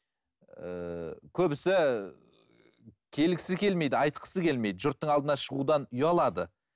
ііі көбісі келгісі келмейді айтқысы келмейді жұрттың алдына шығудан ұялады